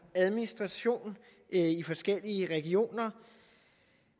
administration i forskellige regioner og